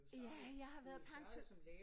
Ja jeg har været pension